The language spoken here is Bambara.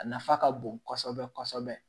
A nafa ka bon kɔsɔbɛ kɔsɔbɛ